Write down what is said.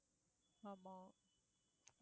ஆமா